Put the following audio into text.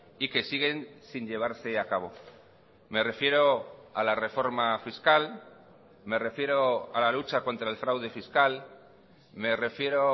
y que siguen sin llevarse a cabo me refiero a la reforma fiscal me refiero a la lucha contra el fraude fiscal me refiero